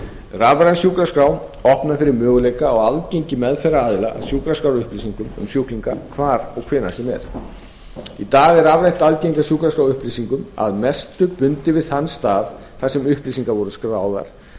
rafræn sjúkraskrá opnar fyrir möguleika á aðgengi meðferðaraðila á sjúkraskrárupplýsingum um sjúklinga hvar og hvenær sem er í dag er rafrænt aðgengi að sjúkraskrárupplýsingum að mestu bundið við þann stað þar sem upplýsingar voru skráðar